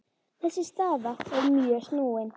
Þessi staða er mjög snúin.